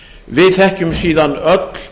við þekkjum síðan öll